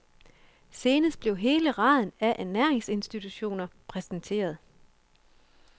Senest blev hele raden af ernæringsinstitutioner præsenteret.